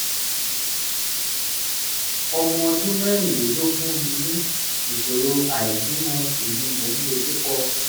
ọmọ ọdún mẹ́rìnlélógún ni mí ìṣòro àìbímọ sì ni mò ń dojúkọ